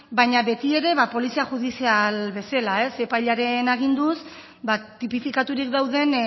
baina beti ere ba polizia judizial bezala epailearen aginduz ba tipifikaturik dauden